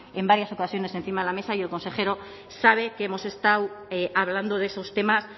en varias ocasiones encima de la mesa y el consejero sabe que hemos estado hablando de esos temas